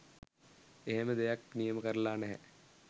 එහෙම දෙයක්‌ නියම කරලා නැහැ